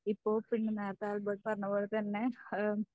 ഇപ്പോ പിന്നെ നേരത്തെ ആൽബർട്ട് പറഞ്ഞതുപോലെ തന്നെ ഏഹ്